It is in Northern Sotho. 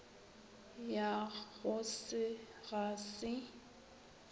ya go se ga se